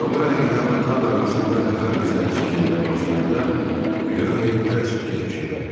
Odavara ilə Atam arasında qatar reysləri çəkilməyə başlayanda Ryohey hələ 8 yaşında idi.